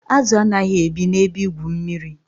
Azụ anaghị ebi na ebe igwu mmiri